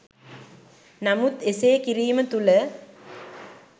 නමුත් එසේ කිරීම තුළ